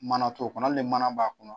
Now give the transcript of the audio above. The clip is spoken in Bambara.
Mana t'o kɔnɔ hali ni mana b'a kɔnɔ